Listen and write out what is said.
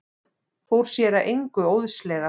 Fór sér að engu óðslega.